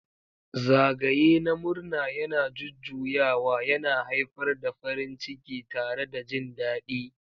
Zagaye na murna yana jujjuyawa, yana haifar da farin ciki tare da jin daɗi.